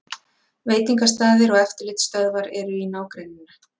Veitingastaðir og eftirlitsstöðvar eru í nágrenninu